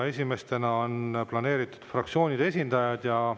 Esimestena on planeeritud fraktsioonide esindajate kõned.